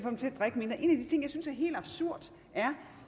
synes er helt absurd er